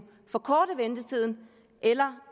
forkorte ventetiden eller